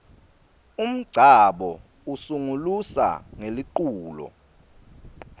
umngcabo usungulusa ngeliculo